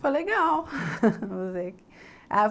Foi legal